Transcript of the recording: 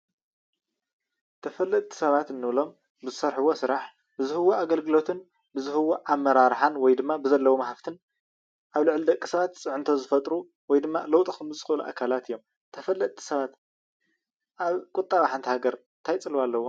ተፈለጥቲ ሰባት እንብሎም ብዝሰርሕዎ ስራሕ ብዝህብዎ ኣገልግልትን ብዝህብዎ ኣመራርሓን ወይድማ ብዘለዎም ሃፍትን ኣብ ልዕሊ ደቂ ሰባት ፅዕንቶ ዝፈጥሩ ወይ ድማ ለውጢ ክፈጥሩ ዝክእሉ ኣካላት እዮም፡፡ ተፈለጥቲ ሰባት ኣብ ቁጠባ ሓንቲ ሃገር እንታይ ፅልዋ አለዎም?